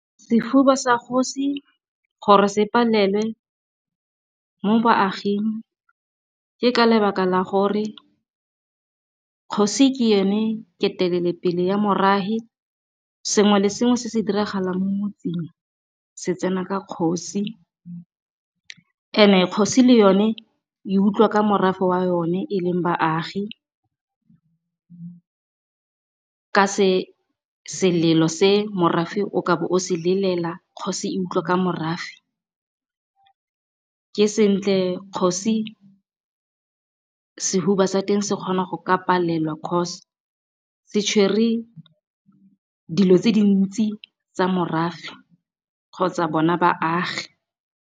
Sehuba sa kgosi gore se palelwe mo baaging, ke ka lebaka la gore kgosi ke yone ketelelopele ya morahi. Sengwe le sengwe se se diragalang, se tsena ka kgosi, and-e kgosi le yone e utlwa ka morafe wa yone e leng baagi. Ka selelo se morafe o ka be o se lelela, kgosi e utlwa ka morafe. Ke sentle kgosi sehuba sa teng se kgona go ka palelwa cause se tshwere, dilo tse dintsi tsa morafe kgotsa bona baagi.